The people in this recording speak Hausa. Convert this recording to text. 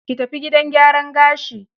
Ki tafi gidan gyaran gashi.